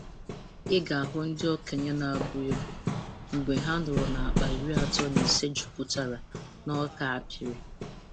Ị ga-ahụ ndị okenye na-abụ egwu mgbe ha nụrụ na akpa iri atọ na ise juputara na ọka a pịrị.